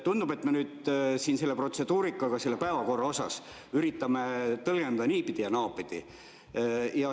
Tundub, et me nüüd seda protseduurikat päevakorra osas üritame tõlgendada niipidi ja naapidi.